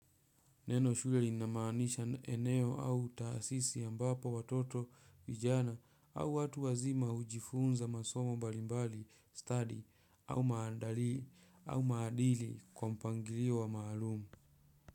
Neno shule linamaanisha eneo au taasisi ambapo watoto vijana au watu wazima hujifunza masomo mbalimbali study au maadili kwa mpangilio wa maalum.